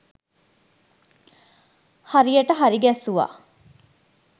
හරියට හරි ගැස්සුවා.